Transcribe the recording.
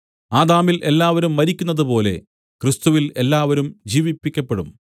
ആദാമിൽ എല്ലാവരും മരിക്കുന്നതുപോലെ ക്രിസ്തുവിൽ എല്ലാവരും ജീവിപ്പിക്കപ്പെടും